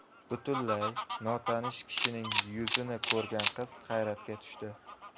Butunlay notanish kishining yuzini ko‘rgan qiz hayratga tushdi.